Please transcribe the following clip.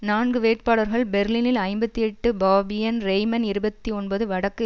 நான்கு வேட்பாளர்கள் பெர்லினில் ஐம்பத்தி எட்டு பாபியன் ரேய்மன் இருபத்தி ஒன்பது வடக்கு